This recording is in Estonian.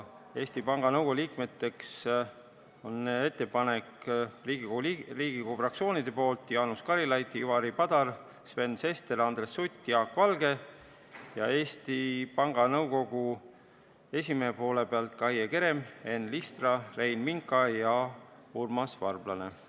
Eesti Panga Nõukogu liikmekandidaatideks on Riigikogu fraktsioonid esitanud Jaanus Karilaiu, Ivari Padari, Sven Sesteri, Andres Suti ja Jaak Valge ning Eesti Panga Nõukogu esimees on esitanud Kaie Keremi, Enn Listra, Rein Minka ja Urmas Varblase.